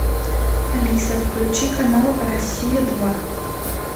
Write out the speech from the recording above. алиса включи канал россия два